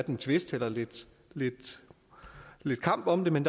en tvist eller lidt lidt kamp om det men